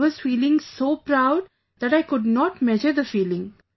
I was feeling so proud that I could not measure the feeling